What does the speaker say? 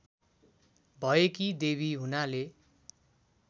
भएकी देवी हुनाले